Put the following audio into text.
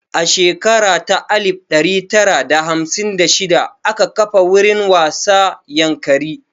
A shekara ta alif ɗari tara da hamsin da shida aka kafa wurin wasa Yankari